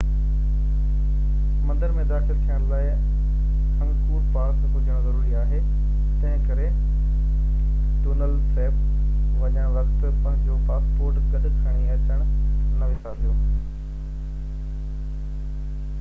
مندر ۾ داخل ٿيڻ لاءِ انگڪور پاس هجڻ ضروري آهي تنهنڪري ٽونل سيپ وڃڻ وقت پنهنجو پاسپورٽ گڏ کڻي اچڻ نہ وسارجو